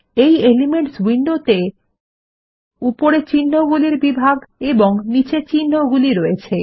এই এলিমেন্টস উইন্ডোত়ে উপরে চিন্হগুলির বিভাগ এবং নীচে চিন্হগুলি রয়েছে